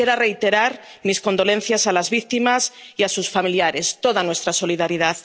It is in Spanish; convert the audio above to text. Quisiera reiterar mis condolencias a las víctimas y a sus familiares, toda nuestra solidaridad.